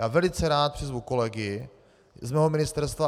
Já velice rád přizvu kolegy z mého ministerstva.